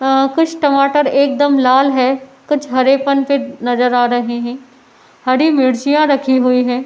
आ कुछ टमाटर एक दम लाल है कुछ हरे पन पे नजर आ रहे हैं हरी मिर्चिंयाँ रखी हुई हैं।